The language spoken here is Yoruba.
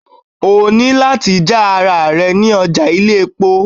O ní láti já ara ẹ ní ọjà ilé-epo